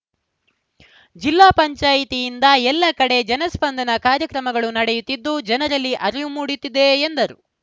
ಜಿಲ್ಲಾ ಪಂಚಾಯಿತಿಯಿಂದ ಎಲ್ಲ ಕಡೆ ಜನ ಸ್ಪಂದನಾ ಕಾರ್ಯಕ್ರಮಗಳು ನಡೆಯುತ್ತಿದ್ದು ಜನರಲ್ಲಿ ಅರಿವು ಮೂಡುತ್ತಿದೆ ಎಂದರು